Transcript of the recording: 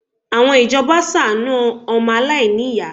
Àwọn ìjọba ṣàánú ọmọ aláìníyàá